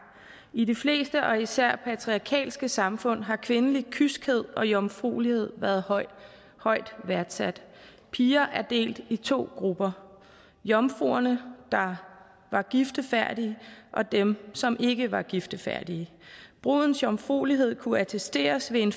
i de fleste og især patriarkalske samfund har kvindelig kyskhed og jomfruelighed været højt højt værdsat piger er delt i to grupper jomfruerne der var giftefærdige og dem som ikke var giftefærdige brudens jomfruelighed kunne attesteres ved en